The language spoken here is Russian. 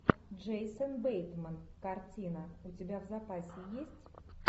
джейсон бейтман картина у тебя в запасе есть